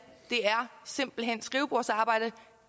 simpelt hen er skrivebordsarbejde at